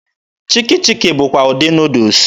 Chiki chiki bụkwa ụdị Nuudus.